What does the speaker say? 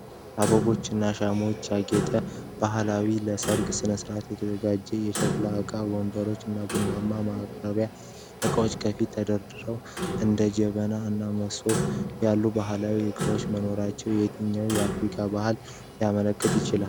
በአበቦች እና ሻማዎች ያጌጠ ባህላዊ መድረክ ለሥነ-ሥርዓት ተዘጋጅቷል። የሸክላ ዕቃዎች፣ ወንበሮች፣ እና የቡና ማቅረቢያ ዕቃዎች ከፊት ተደርድረዋል። እንደ ጄበና እና መሶብ ያሉ ባህላዊ ዕቃዎች መኖራቸው የትኛውን አፍሪካዊ ባህል ሊያመለክት ይችላል?